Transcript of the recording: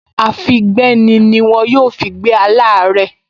Àfígbéni ni wọ́n yóò fi gbé aláàárẹ̀